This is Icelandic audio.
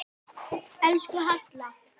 Elsku Halla.